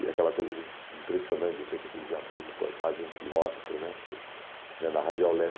E aquela coisa de impressionante, de repente, aquele viaduto com quase um quilômetro, na Radial leste